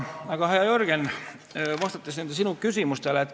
Aga, hea Jürgen, vastan nendele sinu küsimustele.